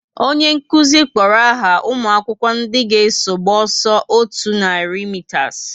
Onye nkụzi kpọrọ aha umuakwukwo ndị ga eso gba ọsọ otú nari mitas